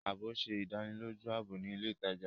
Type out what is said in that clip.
Ààbò ṣe ìdánilójú ààbò ni ilè ìtàjà.